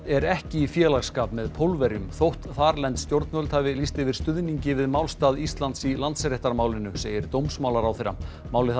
er ekki í félagsskap með Pólverjum þótt þarlend stjórnvöld hafi lýst yfir stuðningi við málstað Íslands í Landsréttarmálinu segir dómsmálaráðherra málið